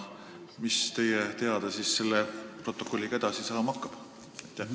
Ja mis teie teada selle protokolliga edasi saama hakkab?